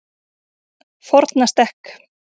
Fornastekk